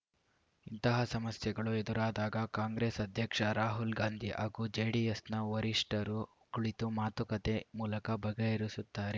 ಇಂತಹ ಸಮಸ್ಯೆಗಳು ಎದುರಾದಾಗ ಕಾಂಗ್ರೆಸ್‌ ಅಧ್ಯಕ್ಷ ರಾಹುಲ್‌ ಗಾಂಧಿ ಹಾಗೂ ಜೆಡಿಎಸ್‌ನ ವರಿಷ್ಠರು ಕುಳಿತು ಮಾತುಕತೆ ಮೂಲಕ ಬಗೆಹರಿಸುತ್ತಾರೆ